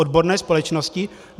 Odborné společnosti?